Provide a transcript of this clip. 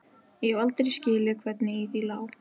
Ég hef aldrei skilið hvernig í því lá.